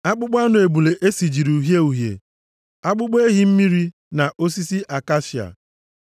akpụkpọ anụ ebule e sijiri uhie uhie, akpụkpọ ehi mmiri, na osisi akashia;